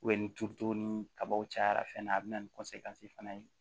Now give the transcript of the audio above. ni turuto ni kabaw cayara fɛn na a bɛ na ni fana ye